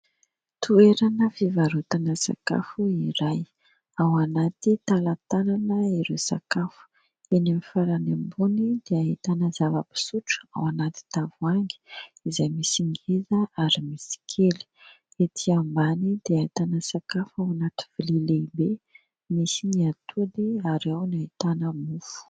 Toerana fivarotana sakafo iray. Ao anaty talantalana ireo sakafo. Eny amin'ny farany ambony dia ahitana zava-pisotro ao anaty tavoahangy, izay misy ngeza ary misy kely. Etỳ ambany dia ahitana sakafo ao anaty lovia lehibe, misy ny atody ary ao no ahitana mofo.